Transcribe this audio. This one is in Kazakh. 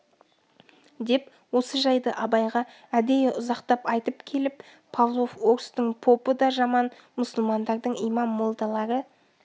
деп осы жайды абайға әдейі ұзақтап айтып келіп павлов орыстың попы да жаман мұсылмандардың имам молдалары